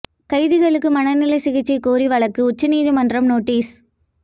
கைதிகளுக்கு மனநல சிகிச்சை கோரி வழக்கு உயர்நீதிமன்றம் நோட்டீஸ்